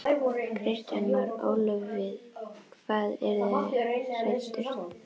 Kristján Már: Ólöf við hvað eru þið hræddust?